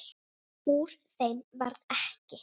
Úr þeim varð ekki.